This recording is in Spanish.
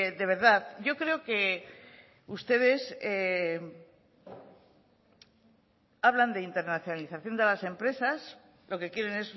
de verdad yo creo que ustedes hablan de internacionalización de las empresas lo que quieren